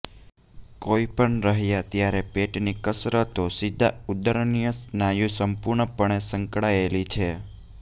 કોઈપણ રહ્યા ત્યારે પેટની કસરતો સીધા ઉદરીય સ્નાયુ સંપૂર્ણપણે સંકળાયેલી છે